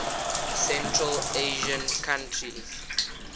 central asian countries